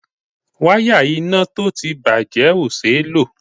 Wáyà iná tó ti bàjé o ṣé ló.